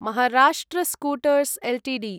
Maharashtra scooters Ltd